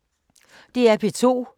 DR P2